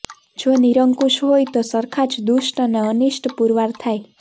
જો નિરંકુશ હોય તો સરખા જ દુષ્ટ અને અનિષ્ટ પુરવાર થાય